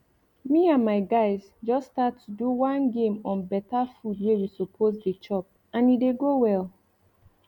me and my guys just start to do one game on better food wey we suppose dey chop and e dey go well